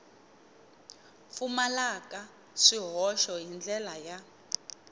pfumalaka swihoxo hi ndlela ya